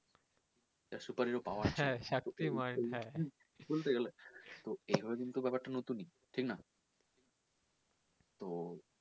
একটা super hero পাওয়া বলতে গেলে ব্যাপারটা নতুন ঠিক না তো